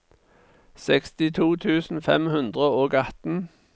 sekstito tusen fem hundre og atten